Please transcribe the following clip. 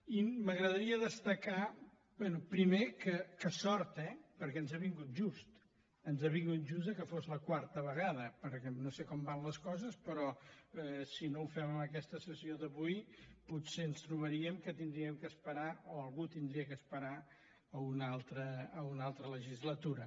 i m’agradaria destacar bé primer que sort eh perquè ens ha vingut just ens ha vingut just que fos la quarta vegada perquè no sé com van les coses però si no ho fem en aquesta sessió d’avui potser ens trobaríem que hauríem d’esperar o algú hauria d’esperar a una altra legislatura